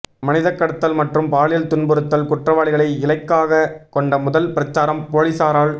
மனிதக்கடத்தல் மற்றும் பாலியல் துன்புறுத்தல் குற்றவாளிகளை இலக்காகக் கொண்ட முதல் பிரச்சாரம் பொலிசாரால்